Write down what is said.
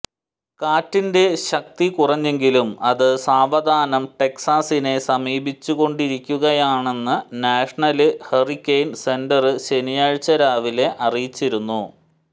കാറ്റിന്റെ ശക്തി കുറഞ്ഞെങ്കിലും അത് സാവധാനം ടെക്സാസിനെ സമീപിച്ചുകൊണ്ടിരിക്കുകയാണെന്ന് നാഷണല് ഹൂറിക്കെയ്ന് സെന്റര് ശനിയാഴ്ച രാവിലെ അറിയിച്ചിരുന്നു